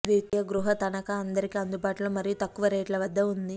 ద్వితీయ గృహ తనఖా అందరికీ అందుబాటులో మరియు తక్కువ రేట్ల వద్ద ఉంది